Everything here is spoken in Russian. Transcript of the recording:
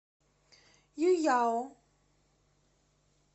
юйяо